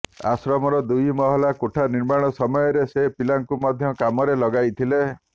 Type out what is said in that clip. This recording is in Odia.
ଆଶ୍ରମର ଦୁଇ ମହଲା କୋଠା ନିର୍ମାଣ ସମୟରେ ସେ ପିଲାଙ୍କୁ ମଧ୍ୟ କାମରେ ଲଗାଇଥିଲେ